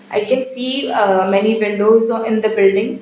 i can see uh many windows in the building.